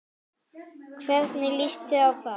Hvernig lýst þér á það?